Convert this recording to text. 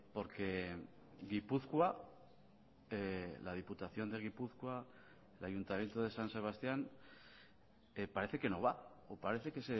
porque gipuzkoa la diputación de gipuzkoa el ayuntamiento de san sebastián parece que no va o parece que